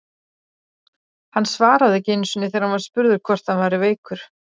Hann svaraði ekki einu sinni þegar hann var spurður hvort hann væri veikur!